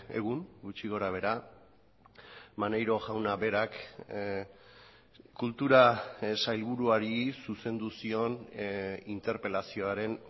egun gutxi gorabehera maneiro jauna berak kultura sailburuari zuzendu zion interpelazioaren